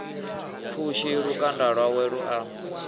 pfushi lukanda lwawe lu a